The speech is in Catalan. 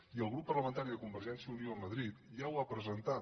i el grup parlamentari de convergència i unió a madrid ja ho ha presentat